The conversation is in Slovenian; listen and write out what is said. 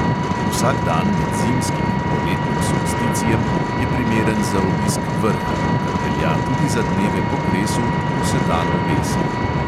Vsak dan med zimskim in poletnim solsticijem je primeren za obisk vrha, kar velja tudi za dneve po kresu, ko se dan obesi.